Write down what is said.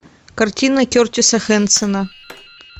картина кертиса хенсона